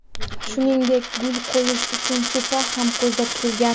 Shuningdek, gul qo‘yish uchun supa ham ko‘zda tutilgan.